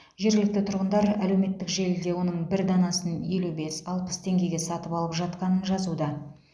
жергілікті тұрғындар әлеуметтік желіде оның бір данасын елу бес алпыс теңгеге сатып алып жатқанын жазуда